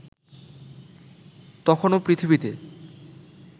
তখনও পৃথিবীতে